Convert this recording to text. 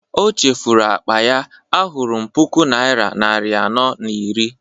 o chefuru akpa ya, ahụrụm puku naira nari anọ na iri